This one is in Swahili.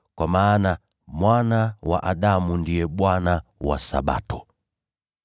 kwa maana Mwana wa Adamu ndiye Bwana wa Sabato.”